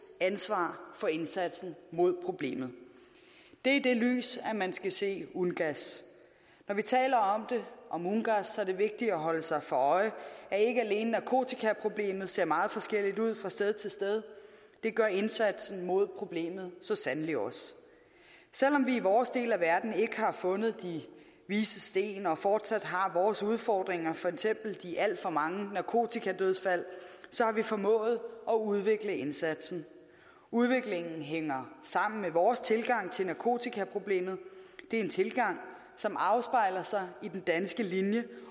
ansvar for indsatsen mod problemet det er i det lys man skal se ungass når vi taler om ungass er det vigtigt at holde sig for øje at ikke alene narkotikaproblemet ser meget forskelligt ud fra sted til sted det gør indsatsen mod problemet så sandelig også selv om vi i vores del af verden ikke har fundet de vises sten og fortsat har vores udfordringer for eksempel de alt for mange narkotikadødsfald så har vi formået at udvikle indsatsen udviklingen hænger sammen med vores tilgang til narkotikaproblemet det er en tilgang som afspejler sig i den danske linje